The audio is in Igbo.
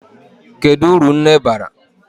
Kedu uru nne bara?